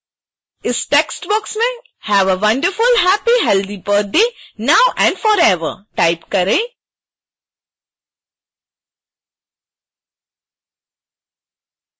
इस text box में have a wonderful happy healthy birthday now and forever type करें